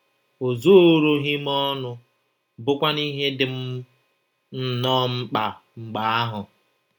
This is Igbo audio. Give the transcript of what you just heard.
O zooroghị m ọnụ — bụ́kwanụ ihe dị m m nnọọ mkpa mgbe ahụ!